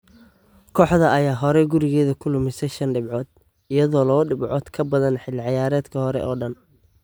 Kooxda ayaa horay gurigeeda ku lumisay shan dhibcood, iyadoo labo dhibcood ka badan xilli ciyaareedkii hore oo dhan.